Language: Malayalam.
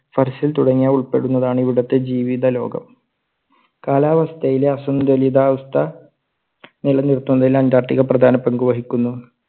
തുടങ്ങിയവ ഉൾപ്പെടുന്നതാണ് ഇവിടുത്തെ ജീവിത ലോകം. കാലാവസ്‌തയിലെ അസുന്തുലിതാവസ്ഥ നിലനിർത്തുന്നതിൽ അന്റാർട്ടിക്ക പ്രധാന പങ്കു വഹിക്കുന്നു.